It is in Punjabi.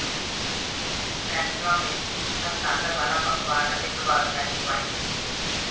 ਰੈਸਟਰਾਂ ਵਿੱਚ ਹਸਤਾਖ਼ਰ ਵਾਲਾ ਪਕਵਾਨ ਅਤੇ ਪ੍ਰਭਾਵਸ਼ਾਲੀ ਵਾਈਨ ਸੂਚੀ ਹੈ